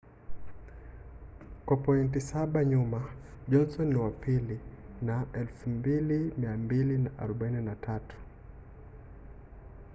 kwa pointi saba nyuma johnson ni wa pili na 2,243